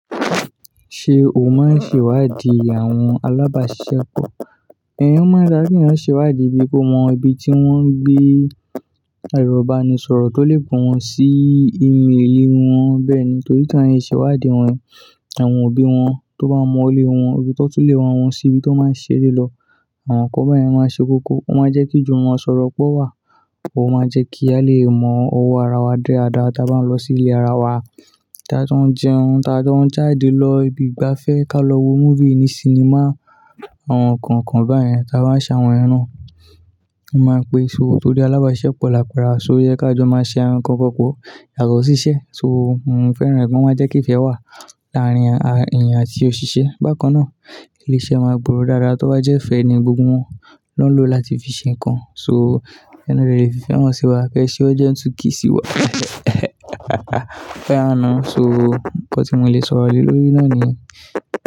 Ṣé o máa ń ṣèwádìí àwọn alábàáṣisepọ̀? Ẹ̀ o ń máa ń dá kí èèyàn ṣèwádìí bí kò mọ ibi tí wọ́n gbé, ẹro ibanisọ̀rọ̀ tó lè pe wọ́n sí ìmí èlé wọn bẹ́ẹ̀ ni torí kí èèyàn ṣèwádìí wọn, àwọn òbí wọn tó bá mọ ilè wọn, ibì tọ́ tun lè wá wọn sí ibi tó máa ṣere lọ. Àwọn nǹkan báyẹn máa ṣe koko, ó máa jẹ́ kí jumo sọ̀rọ̀ pọ̀ wá, ó máa jẹ́ kí a lè mọ ọwọ́ ara wa dada tí a bá ń lọ sí ilé ara wa, tí a tu ń jẹun, tí a jo ń jáde lọ ibi ìgbafẹ́, ká lọ wo movie ní sinimá, àwọn nǹkan kan báyẹn tí a bá ń ṣe àwọn yan. A máa pè, so tó ri alábáṣepọ̀ láperawa so yẹ ká jọ máa ṣe àwọn n kankan pọ̀, yàtọ̀ síṣẹ́. So mo fẹ́ràn ẹ̀ gan, o máa jẹ́ kí ìfẹ́ wà láàárín èèyàn àti òṣìṣẹ́. Bákan náà, ilé-iṣẹ́ máa gbòòrò dádá tó bá jẹ́ fẹ́ni gbogbo wọn ló ń lò láti fi ṣe nǹkan. So ẹni le fife han sí wa. Kẹ́ se urgent 2k si wa Ó yá now So nǹkan tí mo lè sọ̀rọ̀ lé lórí náà ni yen.